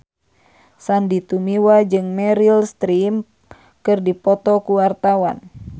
Sandy Tumiwa jeung Meryl Streep keur dipoto ku wartawan